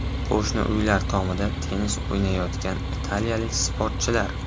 Qo‘shni uylar tomida tennis o‘ynayotgan italiyalik sportchilar.